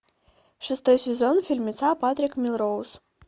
шестой сезон фильмеца патрик мелроуз